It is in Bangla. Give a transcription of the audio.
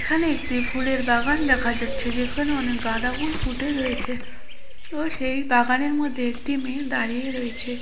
এখানে একটি ফুলের বাগান দেখা যাচ্ছে যেখানে অনেক গাদা ফুল ফুটে রয়েছে ও সেই বাগানের মধ্যে একটি মেয়ে দাড়িয়ে রয়েছে।